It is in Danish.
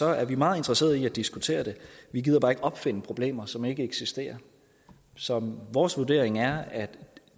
er vi meget interesserede i at diskutere det vi gider bare ikke opfinde problemer som ikke eksisterer så vores vurdering er at